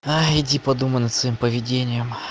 иди подумай над своим поведением